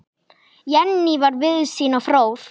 Jenný var víðsýn og fróð.